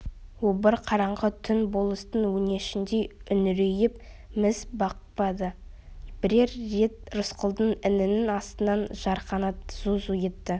обыр қараңғы түн болыстың өңешіндей үңірейіп міз бақпады бірер рет рысқұлдың інінің астынан жарқанат зу-зу өтті